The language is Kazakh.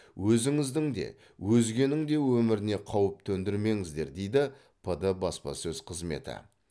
өзіңіздің де өзгенің де өміріне қауіп төндірмеңіздер дейді пд баспасөз қызметі